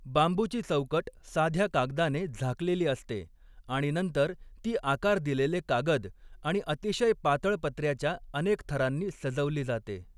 बांबूची चौकट साध्या कागदाने झाकलेली असते आणि नंतर ती आकार दिलेले कागद आणि अतिशय पातळ पत्र्याच्या अनेक थरांनी सजवली जाते.